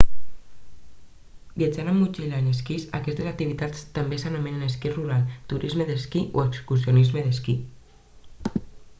viatjant amb motxilla en esquís aquesta activitat també s'anomena esquí rural turisme d'esquí o excursionisme d'esquí